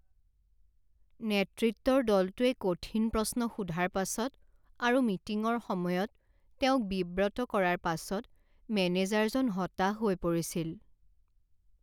নেতৃত্বৰ দলটোৱে কঠিন প্ৰশ্ন সোধাৰ পাছত আৰু মিটিঙৰ সময়ত তেওঁক বিব্ৰত কৰাৰ পাছত মেনেজাৰজন হতাশ হৈ পৰিছিল।